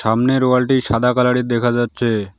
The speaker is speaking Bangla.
সামনের ওয়ালটি সাদা কালারের দেখা যাচ্ছে।